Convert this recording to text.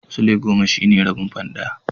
Sulai goma shine rabin fan ɗaya.